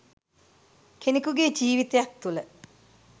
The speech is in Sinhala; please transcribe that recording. කෙනෙකුගේ ජීවිතයක් තුළ